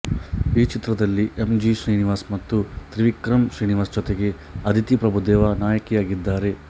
ಈ ಚಿತ್ರದಲ್ಲಿ M G Srinivas ಮತ್ತು ತ್ರಿವಿಕ್ರಮ್ ಶ್ರೀನಿವಾಸ್ ಜೊತೆಗೆ ಅದಿತಿ ಪ್ರಭುದೇವ ನಾಯಕಿಯಾಗಿದ್ದಾರೆ